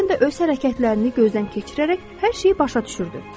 Glenda öz hərəkətlərini gözdən keçirərək hər şeyi başa düşürdü.